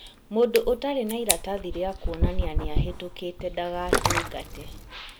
Mũndũ ũtarĩ na iratathi rĩa kuonania nĩahĩtũkĩte ndagatungate